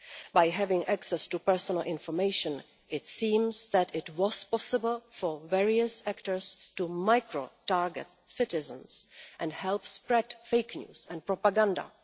By having access to personal information it seems that it was possible for various actors to micro target citizens and help spread fake news and propaganda.